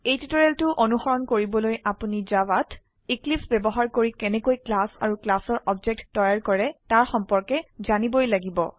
এই টিউটোৰিয়েলটো অনুসৰণ কৰিবলৈ আপোনি জাভাত এক্লিপছে বয়ৱহাৰ কৰি কেনেকৈ ক্লাস আৰু ক্লাসৰ অবজেক্ট তৈয়াৰ কৰে তাৰ সম্পৰ্কে জানিবই লাগিব